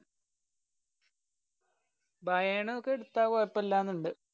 ബയേണൊക്കെ എടുത്ത കൊഴപ്പില്ലാന്നുണ്ട്.